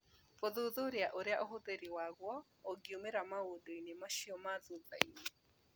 Gũthuthuria ũrĩa ũhũthĩrĩri waguo ũngiumĩra maũndũ-inĩ macio ma thutha-inĩ .